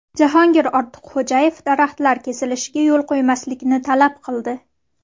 Jahongir Ortiqxo‘jayev daraxtlar kesilishiga yo‘l qo‘ymaslikni talab qildi.